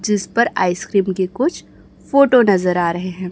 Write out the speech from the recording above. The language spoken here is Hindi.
जिस पर आइसक्रीम के कुछ फोटो नजर आ रहे हैं।